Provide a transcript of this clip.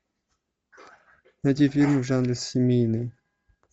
найти фильм в жанре семейный